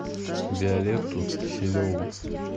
виолетту киселеву